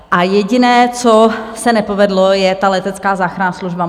A jediné, co se nepovedlo, je ta letecká záchranná služba.